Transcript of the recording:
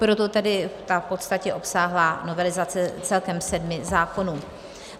Proto tedy ta v podstatě obsáhlá novelizace celkem sedmi zákonů.